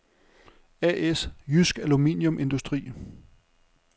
A/S Jydsk Aluminium Industri